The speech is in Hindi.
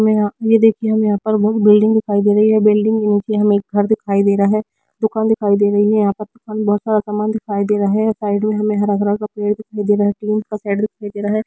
मे ये देखिए हमे बोहोत बिल्डिंग दिखाई दे रही है बिल्डिंग उनकी हमे घर दिखाई दे रहा है दुकान दिखाई दे रही है यहां पर बोहोत सारा सामान दिखाई दे रहा है साइड मे हमे हरा-भरा पेड़ दिखाई दे रहा है--